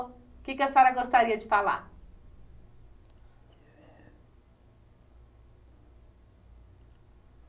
O que é que a senhora gostaria de falar?